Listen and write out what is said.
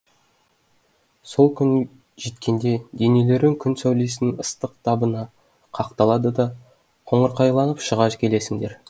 сол күн жеткенде денелерің күн сәулесінің ыстық табына қақталады да қоңырқайланып шыға келесіңдер